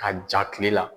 Ka ja kile la